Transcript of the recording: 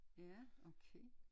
Ja okay